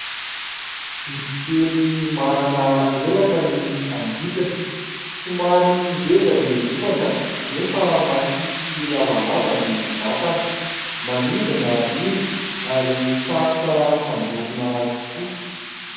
Bibikely manana elatra ny angidina. Somary ngeza ny lohany nefa mahia sy lavalava ny vatany. Manidina izy ary sarotra samborina tokoa.